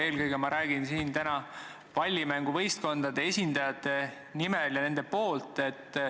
Eelkõige räägin ma täna siin pallimänguvõistkondade esindajate nimel.